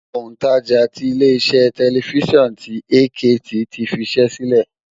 Òǹtajà tí ilé iṣẹ́ tẹlifísàn ti AKT ti fiṣẹ́ sílẹ̀